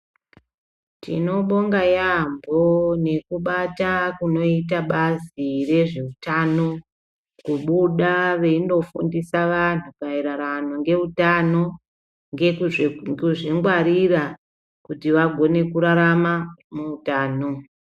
Tinobonga yaambo nekubata kunoita bazi rezveutano kubuda veindofundisa vantu maererano ngeutano ngezvekuzvingwarira kuti vagone kurarama neutano.